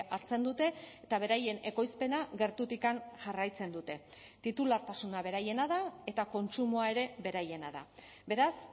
hartzen dute eta beraien ekoizpena gertutik jarraitzen dute titulartasuna beraiena da eta kontsumoa ere beraiena da beraz